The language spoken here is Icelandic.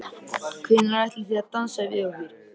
Hvenær ætlið þið að dansa við okkur?